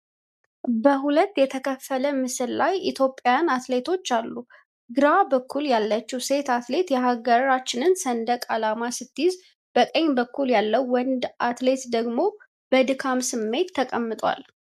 በሁለት የተከፈለ ምስል ላይ ኢትዮጵያውያን አትሌቶች አሉ። ግራ በኩል ያለችው ሴት አትሌት የሀገሯን ሰንደቅ ዓላማ ስትይዝ፣ ቀኝ በኩል ያለው ወንድ አትሌት ደግሞ በድካም ስሜት ተቀምጧል።